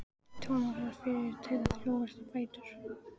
Thomas varð fyrri til að brjótast á fætur.